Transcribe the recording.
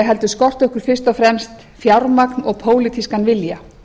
heldur skorti okkur fyrst og fremst fjármagn og pólitískan vilja